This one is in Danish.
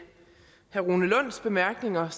herre rune lunds bemærkninger